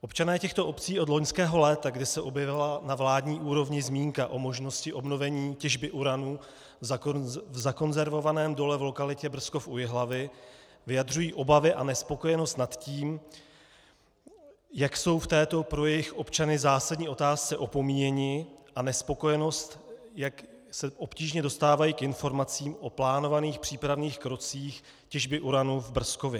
Občané těchto obcí od loňského léta, kdy se objevila na vládní úrovni zmínka o možnosti obnovení těžby uranu v zakonzervovaném dole v lokalitě Brzkov u Jihlavy, vyjadřují obavy a nespokojenost nad tím, jak jsou v této pro jejich občany v zásadní otázce opomíjeni, a nespokojenost, jak se obtížně dostávají k informacím o plánovaných přípravných krocích těžby uranu v Brzkově.